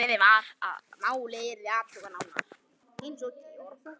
Ákveðið var að málið yrði athugað nánar.